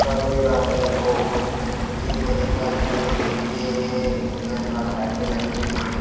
एगो ये मेरे ख्याल से ये डी.जे है इसके अंदर लाइटे लगी हुई है।